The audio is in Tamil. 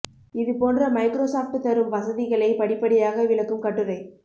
இது போன்ற மைக்ரோசாப்ட் தரும் வசதிகளை படிப்படியாக விளக்கும் கட்டுரை